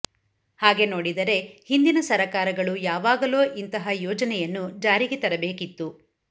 ಹಾಗೆ ನೋಡಿದರೆ ಹಿಂದಿನ ಸರಕಾರಗಳು ಯಾವಾಗಲೋ ಇಂತಹ ಯೋಜನೆಯನ್ನು ಜಾರಿಗೆ ತರಬೇಕಿತ್ತು